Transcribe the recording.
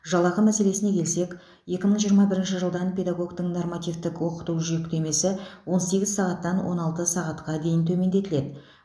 жалақы мәселесіне келсек екі мың жиырма бірінші жылдан педагогтің нормативтік оқыту жүктемесі он сегіз сағаттан он алты сағатқа төмендетіледі